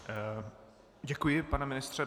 Děkuji, pane ministře.